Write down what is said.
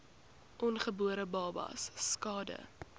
ongebore babas skade